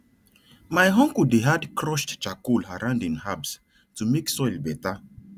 my uncle dey add crushed charcoal around im herbs to make soil better